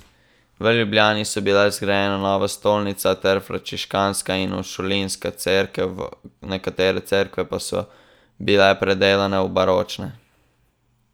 V Ljubljani so bile zgrajene nova stolnica ter frančiškanska in uršulinska cerkev, nekatere cerkve pa so bile predelane v baročne.